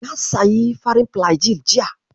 Na sayi farin filajil jiya.